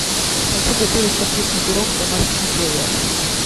хочу готовить капустный пирог в домашних условиях